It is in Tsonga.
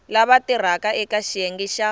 lava tirhaka eka xiyenge xa